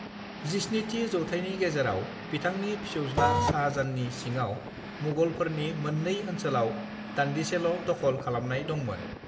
17थि जौथायनि गेजेराव बिथांनि फिसौज्ला शाहजाहाननि सिङाव मुगलफोरनि मोननै ओनसोलाव दानदिसेल' दखल खालामनाय दंमोन।